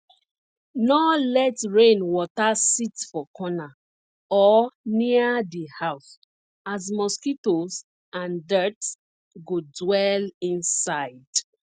nor let rain water sit for corner or near di house as mosquitoes and dirt go dwell inside